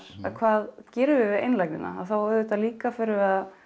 að hvað gerum við við einlægnina þá auðvitað líka förum við að